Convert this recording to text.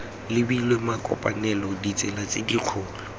lebilwe makopanelo ditsela tse dikgolo